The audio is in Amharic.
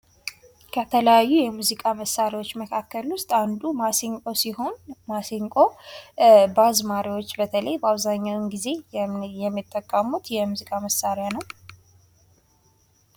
ከተለያዩ የሙዚቃ መሳሪያዎች መካከል ውስጥ አንዱ ማሲንቆ ሲሆን አዝማሪዎች በተለይ በአብዛኛው ጊዜ የሚጠቀሙት ሙዚቃ መሳሪያ ነው።